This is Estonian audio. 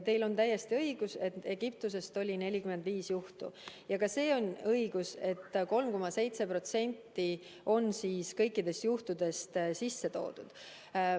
Teil on täiesti õigus, et Egiptusest oli 45 juhtu, ja ka see on õige, et 3,7% kõikidest juhtudest on sisse toodud.